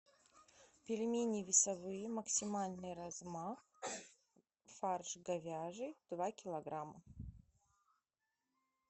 пельмени весовые максимальный размах фарш говяжий два килограмма